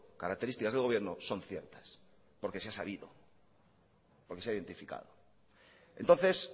características del gobierno son ciertas porque se ha sabido y porque se ha identificado entonces